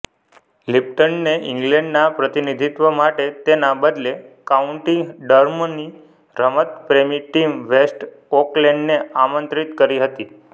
લિપ્ટને ઇંગ્લેન્ડના પ્રતિનિધિત્વ માટે તેના બદલે કાઉન્ટી ડર્હમની રમતપ્રેમી ટીમ વૅસ્ટ ઓકલેન્ડને આમંત્રિત કરી હતી